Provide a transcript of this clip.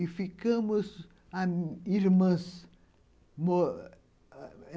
E ficamos ami irmãs.